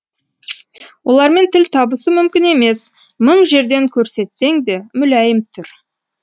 олармен тіл табысу мүмкін емес мың жерден көрсетсең де мүләйім түр